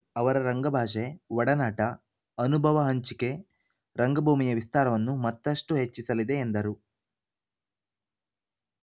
ಅವರ ರಂಗಭಾಷೆ ಒಡನಾಟ ಅನುಭವ ಹಂಚಿಕೆ ರಂಗ್ಭೂಮಿಯ ವಿಸ್ತಾರವನ್ನು ಮತ್ತಷ್ಟುಹೆಚ್ಚಿಸಲಿದೆ ಎಂದರು